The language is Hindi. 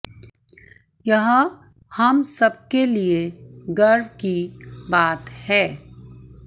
यह हम सब के लिए गर्व की बात है